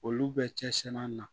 Olu bɛ cɛsiri an na